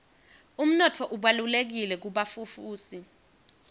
umnotfo ubalulekile kubafufusi